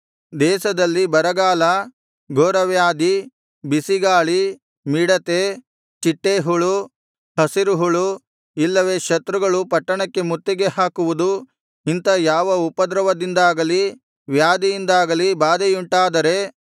ದೇಶದಲ್ಲಿ ಬರಗಾಲ ಘೋರವ್ಯಾಧಿ ಬಿಸಿಗಾಳಿ ಮಿಡತೆ ಚಿಟ್ಟೇಹುಳು ಹಸಿರುಹುಳು ಇಲ್ಲವೆ ಶತ್ರುಗಳು ಪಟ್ಟಣಕ್ಕೆ ಮುತ್ತಿಗೆ ಹಾಕುವುದು ಇಂಥ ಯಾವ ಉಪದ್ರವದಿಂದಾಗಲಿ ವ್ಯಾಧಿಯಿಂದಾಗಲಿ ಬಾಧೆಯುಂಟಾದರೆ